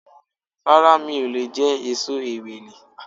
Rárá mi ò leè jé èso Ewèlè